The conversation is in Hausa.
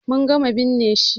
Mun gama binne shi.